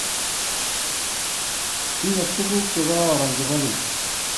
Tinye tuguk che kororon chebo Keny